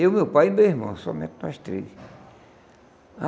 Eu, meu pai e meu irmão, somente nós três.